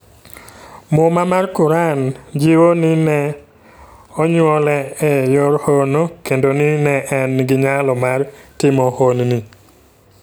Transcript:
Muma mar Quran jiwo ni ne onyuole e yor hono kendo ni ne en gi nyalo mar timo honni.